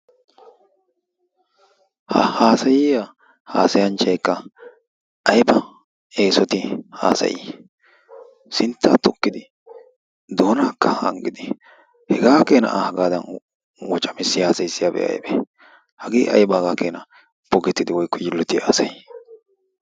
Ha haasayiya haasayanchaykka ayba eesoti haasayi! Sinttaa tukkidi doonaakka hangidi. Hegaa keenaa A hagaadan wocamissi haasayisiyabi aybee? Hagee ayba hagaa keenaa bogettidi woykko yiilloti haasayii?